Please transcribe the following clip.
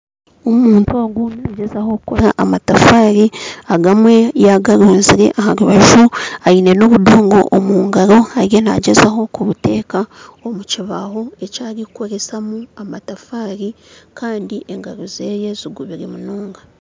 Omuntu ogu nagyezaho kukora amatafaari, agamwe yagarunzire aha rubaju aine n'obudongo omu ngaro ariyo nagyezaho kubuta omu katiba arikukoresebwa kuteera amatafari kandi engaro ze zigubire munonga.